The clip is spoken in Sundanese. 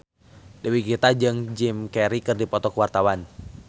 Dewi Gita jeung Jim Carey keur dipoto ku wartawan